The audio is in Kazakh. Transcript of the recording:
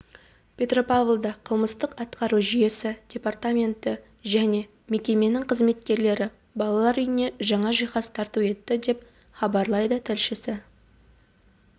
петропавлда қылмыстық-атқару жүйесі департаменті және мекемесінің қызметкерлері балалар үйіне жаңа жиһаз тарту етті деп хабарлайды тілшісі